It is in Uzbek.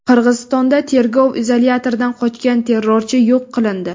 Qirg‘izistonda tergov izolyatoridan qochgan terrorchi yo‘q qilindi.